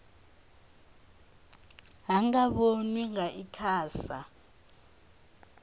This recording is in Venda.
ha nga vhonwa nga icasa